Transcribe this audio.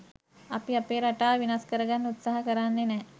අපි අපේ රටාව වෙනස් කරන්න උත්සාහ කරන්නෙ නැහැ